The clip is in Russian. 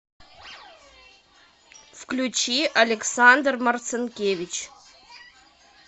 включи александр марцинкевич